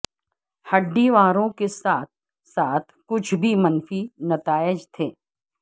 ہڈی واروں کے ساتھ ساتھ کچھ بھی منفی نتائج تھے